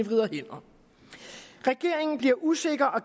vrider hænder regeringen bliver usikker og